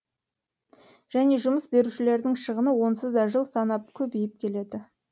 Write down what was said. және жұмыс берушілердің шығыны онсыз да жыл санап көбейіп келеді